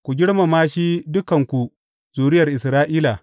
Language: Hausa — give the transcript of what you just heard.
Ku girmama shi, dukanku zuriyar Isra’ila!